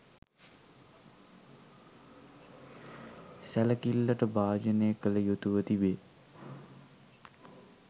සැලකිල්ලට භාජනය කළ යුතුව තිබේ